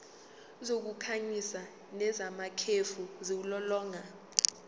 zokukhanyisa nezamakhefu ziwulolonga